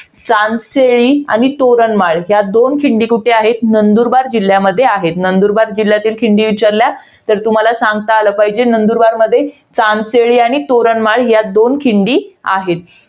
सांसेळी आणि तोरणमाळ या दोन खिंडी कुठे आहेत? नंदुरबार जिल्ह्यामध्ये आहेत. नंदुरबार जिल्ह्यतील खिंडी विचारल्या तर तुम्हाला सांगता आलं पाहिजे. नंदुरबारमध्ये सांसेळी आणि तोरणमाळ या दोन खिंडी आहेत.